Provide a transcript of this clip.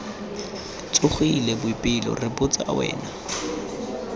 tsogile boipelo re botsa wena